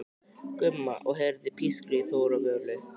Gumma og heyrir pískrið í Þóru og Völu.